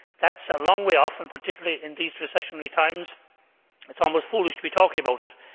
That is a long way off and, particularly in these recessionary times, it is almost foolish to be talking about it.